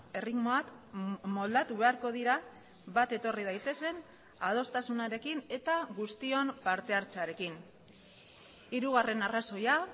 erritmoak moldatu beharko dira bat etorri daitezen adostasunarekin eta guztion partehartzearekin hirugarren arrazoia